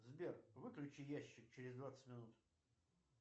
сбер выключи ящик через двадцать минут